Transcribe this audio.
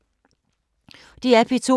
DR P2